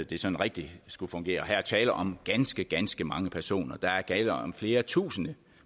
det sådan rigtig skulle fungere og her er tale om ganske ganske mange personer der er tale om flere tusind